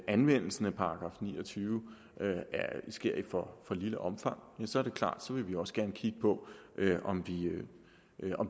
anvendelsen af § ni og tyve sker i for lille omfang så er det klart at vi også gerne vil kigge på om